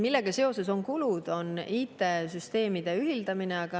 Millega seoses aga on kulud, see on IT-süsteemide ühildamine.